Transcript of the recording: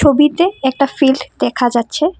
ছবিতে একটা ফিল্ড দেখা যাচ্ছে।